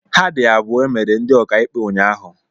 Ha dị abụọ emere ndị ọkaịkpe unyaahụ.